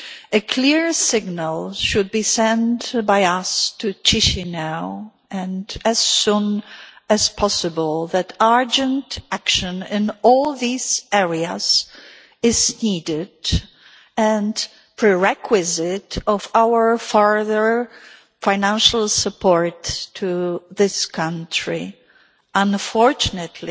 A clear signal should be sent by us to Chişinau, and as soon as possible, that urgent action in all these areas is needed and is a prerequisite for our further financial support to that country. Unfortunately,